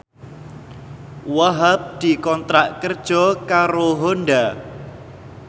Wahhab dikontrak kerja karo Honda